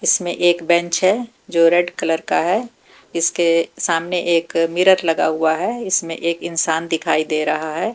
इसमें एक बेंच है जो रेड कलर का है इसके सामने एक मिरर लगा हुआ है इसमें एक इंसान दिखाई दे रहा है।